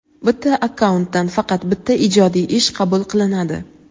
Bitta akkauntdan faqat bitta ijodiy ish qabul qilinadi.